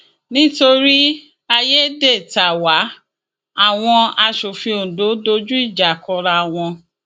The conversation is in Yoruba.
nítorí àyédètàwá àwọn asòfin ondo dojú ìjà kọra wọn